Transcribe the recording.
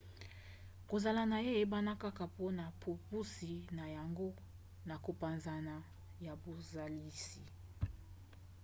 kozala na ye eyebana kaka mpona bopusi na yango na kopanzana ya bozalisi